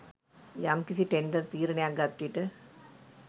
යම්කිසි ටෙන්ඩර් තීරණයක් ගත්විට